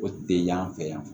O tɛ yan fɛ yan